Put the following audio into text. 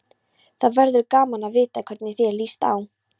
Það verður gaman að vita hvernig þér líst á.